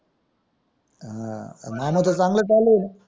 हां मामाच चांगला चालू आहे